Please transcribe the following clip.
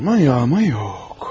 Aman, ya aman yox.